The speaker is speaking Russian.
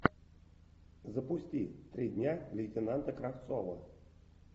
запусти три дня лейтенанта кравцова